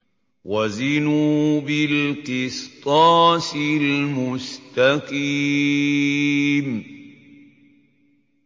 وَزِنُوا بِالْقِسْطَاسِ الْمُسْتَقِيمِ